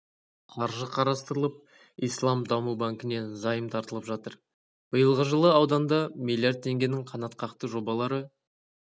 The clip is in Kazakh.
қаржы қарастырылып ислам даму банкінен займ тартылып жатыр биылғы жылы ауданда млрд теңгенің қанатқақты жобалары